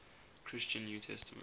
christian new testament